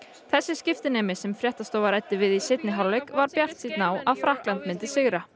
þessi skiptinemi sem fréttastofa ræddi við í seinni hálfleik var bjartsýnn á að Frakkland myndi sigra